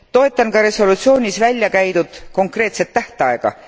Toetan ka resolutsioonis välja käidud konkreetset tähtaega.